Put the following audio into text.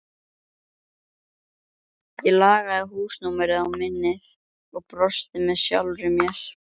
Ég lagði húsnúmerið á minnið og brosti með sjálfri mér.